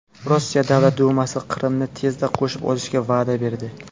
Rossiya Davlat dumasi Qrimni tezda qo‘shib olishga va’da berdi.